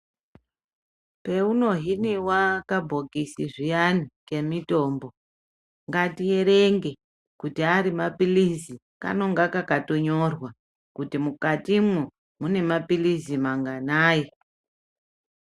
Paunohiniwa kabhokisi zviyani kemutombo ngatierenge kuti arimapilizi kanenge kakatonyorwa kuti mukatimwo munemapilizi manganayi